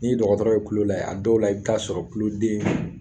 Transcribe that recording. N'i ye dɔgɔtɔrɔw tulo lajɛ a dɔw la i bi t'a sɔrɔ kuluden